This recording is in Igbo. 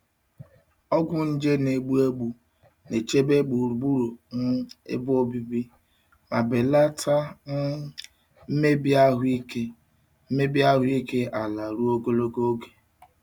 Ọgwụ nje na-egbu egbu na-echebe gburugburu um ebe obibi ma belata um mmebi ahụike mmebi ahụike ala ruo ogologo oge.